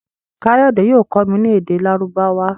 Kayode yóò kọ mí ní èdè Lárúbáwá.